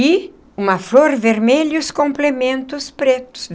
E uma flor vermelha e os complementos pretos.